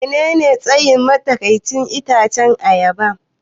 Menene tsayin matsakaicin itacen ayaba?